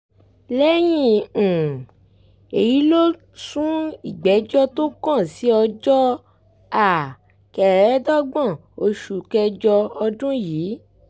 lẹ́yìn um èyí ló sún ìgbẹ́jọ́ tó kàn sí ọjọ́ um kẹẹ̀ẹ́dógún oṣù kẹjọ ọdún yìí